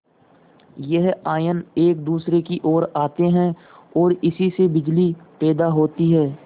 यह आयन एक दूसरे की ओर आते हैं ओर इसी से बिजली पैदा होती है